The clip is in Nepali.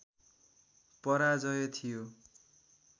पराजय थियो